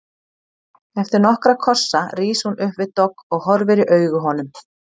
Eftir nokkra kossa rís hún upp við dogg og horfir í augu honum.